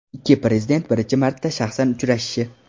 Ikki prezident birinchi marta shaxsan uchrashishi.